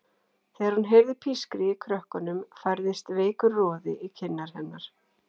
Þegar hún heyrði pískrið í krökkunum færðist veikur roði í kinnar hennar.